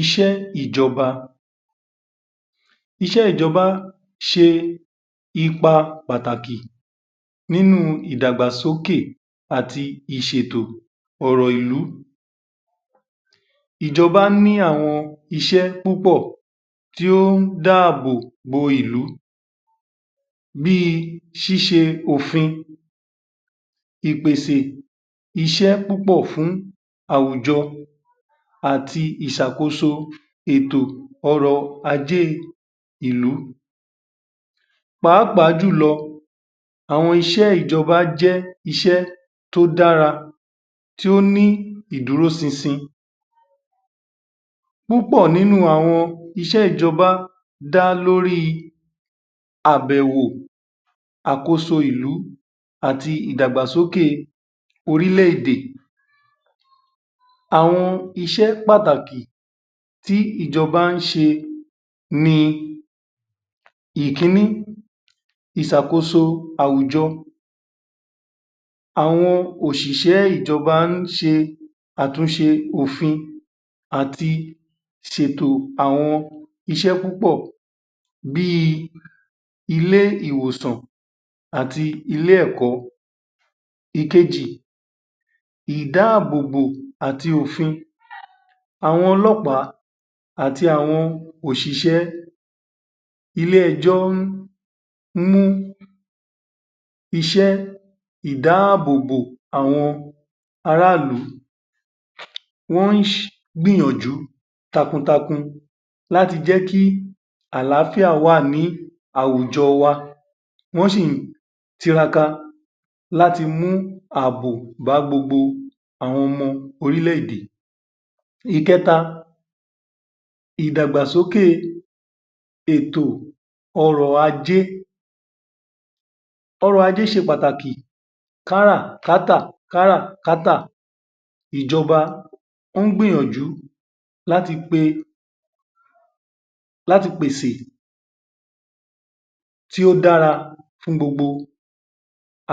Iṣẹ́ Ìjọba Iṣẹ́ ìjọba ṣe ipa pàtàkì nínú ìdàgbàsókè àti ìṣètò ọ̀rọ̀ ìlú. Ìjọba ní àwọn iṣẹ́ púpọ̀ tí ó ń dáàbò bò ìlú bí ṣíṣẹ òfin ìpèsè iṣẹ́ púpọ̀ fún àwùjọ àti ìṣàkóso ètò ọrọ̀-ajé ìlú. Pàápàá jù lọ̀ àwọn iṣẹ́ ìjọba jẹ́ iṣẹ́ tó dára, tí ó ní ìdúró ṣinṣin. Púpọ̀ nínú àwọn iṣẹ́ ìjọba dá lórí àbẹ̀wò, àkóso ìlú àti ìdàgbàsókè orílé-èdè. Àwọn iṣẹ́ pàtàkì tí ìjọba ṣe ní: Ìkíní. Ìṣàkóso àwùjọ. Àwọn òṣìṣé ìjọba ń ṣe àtúnṣe òfin àti ṣètò àwọn iṣẹ́ púpọ̀ bí ilé-ìwòsàn àti ilé-ẹ̀kọ́. Ìkejì. Ìdáàbò bò àti òfin. Àwọn ọlọ́pàá àti àwọn òṣìṣẹ́ ilé-ẹjọ́ ń mú iṣẹ́ ìdáàbò bò àwọn ara ìlú, wọn gbìyànjú takun takun láti jẹ́ kí àlàáfíà wà ní àwùjọ wa, wọn sì tiraka láti mú ààbò bá gbogbo àwọn ọmọ orílé-èdè. Ìkẹta. Ìdàgbàsóké ètò ọrọ̀-ajé. Ọrọ̀-ajé ṣe pàtàkì káràkátà káràkátà, ìjọba o ń gbìyànjú láti pè pèsè kí ó dára fún gbogbo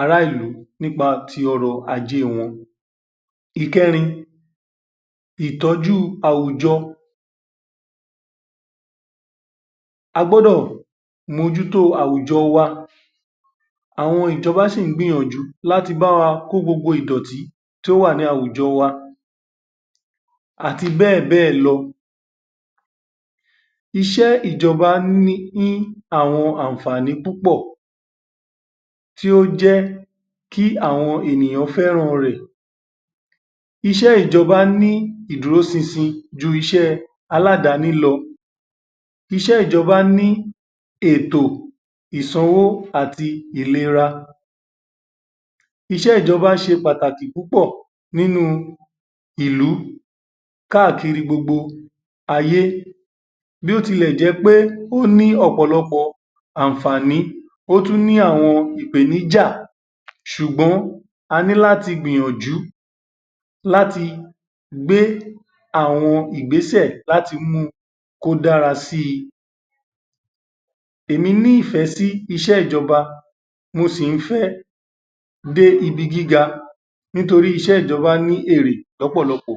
ara ìlú nípa tí ọrọ̀-ajé wọn. Ìkẹrin. Ìtọ́jú àwùjọ. A gbọ́dọ̀ mójú tó àwùjọ wa. Àwọn ìjọba si í gbìyànjú láti bá wa kó gbogbo ìdọ̀tí tó wà ní àwùjọ wa àti bẹ́ẹ̀ bẹ́ẹ̀ lọ. Iṣẹ́ ìjọba ní àwọn àǹfààní púpọ̀ tí ó jẹ́ kí àwọn ènìyàn fẹ́ràn rẹ̀. Iṣẹ́ ìjọba ní ìdúró ṣinṣin ju iṣẹ́ aládàáni lọ. Iṣẹ́ ìjọba ní ètò ìsanwó àti ìlera. Iṣẹ́ ìjọba ṣe pàtàkì púpọ̀ nínú ìlú káàkiri gbogbo ayé. Bí ó tilẹ̀ jẹ́ pé ó ní ọ̀pọ̀lọpọ̀ àǹfààní, ó tún ni àwọn ìpèníjà ṣùgbọ́n a ní láti gbìyànjú láti gbé àwọn ìgbésẹ̀ kí o dára sí. Èmi nífẹ̀ẹ́ sí iṣẹ́ ìjọba, mò sí i fẹ́ dé ibi gíga nítorí iṣẹ́ ìjọba ni èrè lọ́pọ̀lọpọ̀.